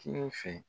Kini fɛ